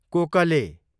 कोकले